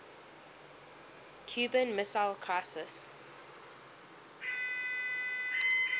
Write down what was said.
cuban missile crisis